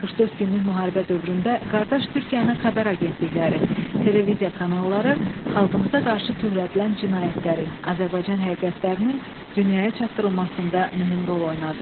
44 günlük müharibə dövründə qardaş Türkiyənin xəbər agentlikləri, televiziya kanalları xalqımıza qarşı törədilən cinayətlərin, Azərbaycan həqiqətlərinin dünyaya çatdırılmasında mühüm rol oynadı.